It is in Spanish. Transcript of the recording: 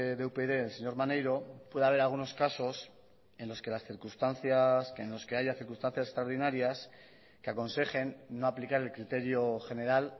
de upyd el señor maneiro puede haber algunos casos en los que haya circunstancias extraordinarias que aconsejen no aplicar el criterio general